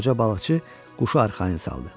Qoca balıqçı quşu arxayın saldı.